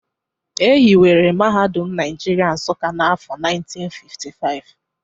E hiwere Mahadum Naijiria Nsuka n’afọ 1955